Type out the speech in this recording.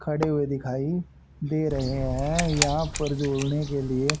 खड़े हुए दिखाई दे रहे हैं यहां पर जोड़ने के लिए--